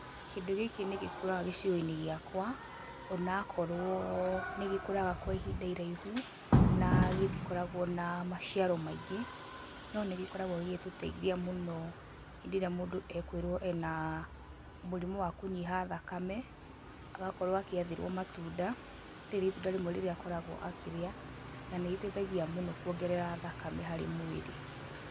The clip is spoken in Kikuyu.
Kĩndũ gĩkĩ nĩ gĩkũraga gĩcigo-inĩ gĩakwa, ona akorwo nĩ gĩkũraga kwa ihinda iraihu, na gĩtikoragwo na maciaro maingĩ, no nĩ gĩkoragwo gĩgĩtũteithia mũno hĩndĩ ĩrĩa mũndũ ekwĩrwo ena mũrimũ wa kũnyiha thakame, agakorwo agĩathĩrwo matunda, rĩrĩ nĩ itunda rĩmwe rĩrĩa akoragwo akĩrĩa, na nĩ rĩteithagia mũno kũongerera thakame harĩ mwĩrĩ.